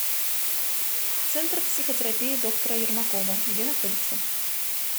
центр психотерапии доктора ермакова где находится